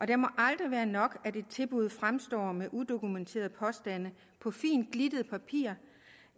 det må aldrig være nok at et tilbud fremstår med udokumenterede påstande på fint glittet papir